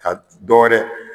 Ka dɔ wɛrɛ